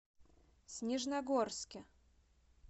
снежногорске